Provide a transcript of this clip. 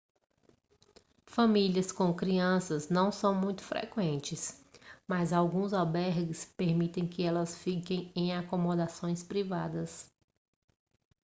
famílias com crianças não são muito frequentes mas alguns albergues permitem que elas fiquem em acomodações privadas